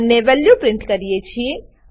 અને value print કરીએ છીએ